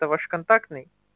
это ваш контактный